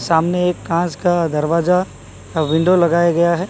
सामने एक कांच का दरवाजा अ विंडो लगाया गया है।